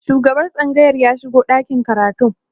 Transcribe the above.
shugaban tsangayar ya shigo ɗakin karatun